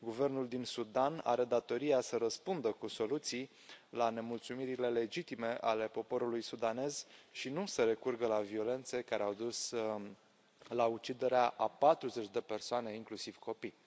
Guvernul din Sudan are datoria să răspundă cu soluții la nemulțumirile legitime ale poporului sudanez și nu să recurgă la violențe, care au dus la uciderea a 40 de persoane, inclusiv copii.